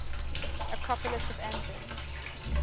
acropolis of athens